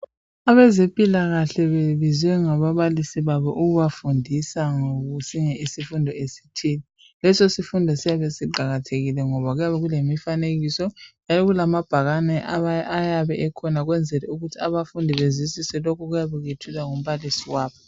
Abezempilakahle bebebizwe ngababalisi babo ukuzebafundisa ngesinye isifundo esithile. Leso sifundo siyabe siqakathekile ngoba kuyabe kulemifanekiso lamabhakane ayabe ekhona ukwenzela ukuthi abafundi bezwisise lokhu okuyabe kwethulwa ngumbalisi wabo.